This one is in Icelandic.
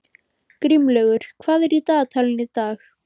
Grímlaugur, hvað er í dagatalinu í dag?